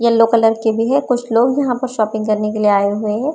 Yellow colour के भी है कुछ लोग यहां पर शॉपिंग करने के लिए आए हुए है।